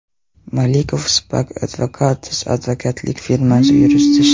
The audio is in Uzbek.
Malikov, Spark Advocatus advokatlik firmasi yuristi Sh.